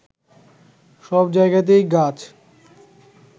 সব জায়গাতেই গাছ